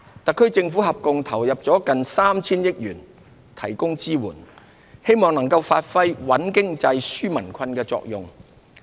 特區政府合共投入了接近 3,000 億元提供支援，冀能發揮穩經濟、紓民困的作用。